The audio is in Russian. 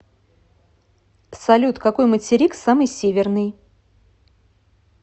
салют какой материк самый северный